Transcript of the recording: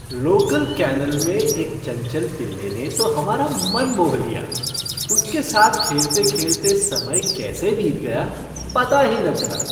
Local kennel में एक चंचल पिल्ले ने तो हमारा मन मोह लिया। उसके साथ खेलते खेलते समय कैसे बीत गया, पता ही न चला।